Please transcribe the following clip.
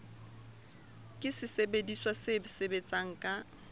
ke sesebediswa se sebetsang ka